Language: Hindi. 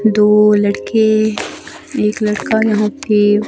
दो लड़के एक लड़का यहां पे--